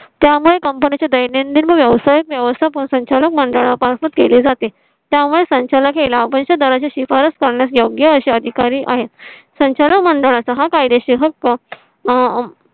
. त्यामुळे company चे दैनंदिन व्यवसाय व्यवस्थापन संचालक मंडळा पासून केले जाते. त्यामुळे ला गेला. पण त्याच्या शिफारस करण्यास योग्य असे अधिकारी आहेत. संचालक मंडळाचा हा कायदेशीर हक्क